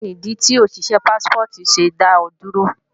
Kíni ìdí tí òṣìṣé Pássípọ̀tì ṣe dá ọ dúró?